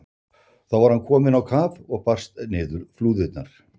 Þá var hann kominn á kaf og barst niður flúðirnar.